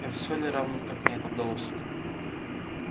не всё ли равно как мне это удалось